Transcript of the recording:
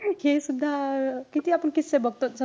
हे सुद्धा किती आपण किस्से बघतो.